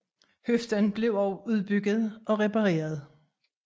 Høfden blev også udbygget og repareret